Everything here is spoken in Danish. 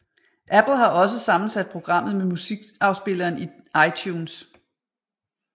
Apple har også sammensat programmet med musikafspilleren iTunes